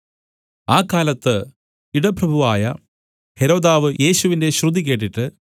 ആ കാലത്ത് ഇടപ്രഭുവായ ഹെരോദാവ് യേശുവിന്റെ ശ്രുതി കേട്ടിട്ട്